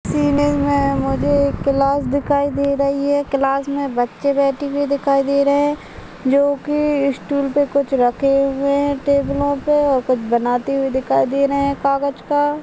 मुझे एक क्लास दिखाई दे रही है क्लास मे बच्चे बैठे हुए दिखाई दे रहे है जो की इस्टुल पे कुछ रखे हुए है टेबलो पे और कुछ बनाती हुई दिखाई दे रहे है कागज का।